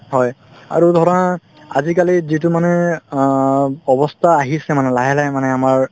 হয়, আৰু ধৰা আজিকালি যিটো মানে অ অৱস্থা আহিছে মানে লাহে লাহে মানে আমাৰ